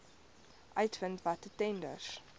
uitvind watter tenders